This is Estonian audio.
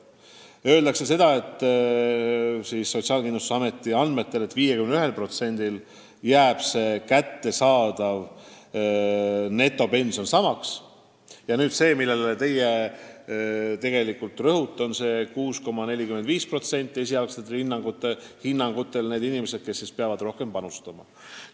Sotsiaalkindlustusameti prognoosi kohaselt jääb 51%-l pensionäridest netopension samaks, ja – nüüd tuleb see, millele teie rõhute – vaid 6,45% on esialgsetel hinnangutel pensionäre, kes peavad riigikassasse rohkem maksma.